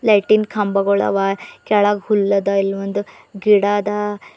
ಲೈಟಿನ್ ಕಂಬಗೊಳವ ಕೇಳಗ್ ಹುಲ್ಲದ ಇಲ್ಲೊಂದು ಗಿಡ ಅದ.